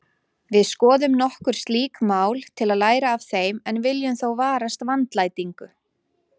Við skoðum nokkur slík mál til að læra af þeim en viljum þó varast vandlætingu.